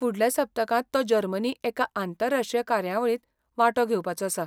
फुडल्या सप्तकांत तो जर्मनी एका आंतरराश्ट्रीय कार्यावळींत वांटो घेवपाचो आसा.